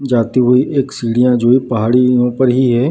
जाती हुई एक सीढ़ियां जो है ये पहाड़ियों पर ही है।